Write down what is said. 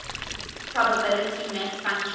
probability mass function